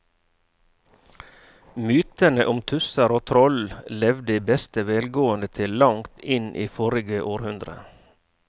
Mytene om tusser og troll levde i beste velgående til langt inn i forrige århundre.